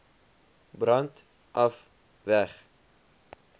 brand af weg